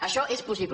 això és possible